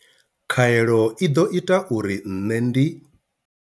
Khaelo i ḓo ita uri nṋe ndi.